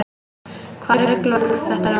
Hvaða rugl var þetta nú?